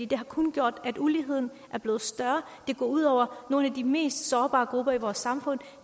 det har kun gjort at uligheden er blevet større det går ud over nogle af de mest sårbare grupper i vores samfund